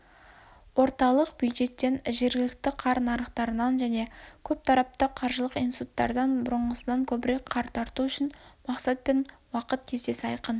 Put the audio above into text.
орталық бюджеттен жергілікті қар нарықтарынан және көптарапты қаржылық институттардан бұрыңғысынан көбірек қар тарту үшін мақсат пен уақыт кестесі айқын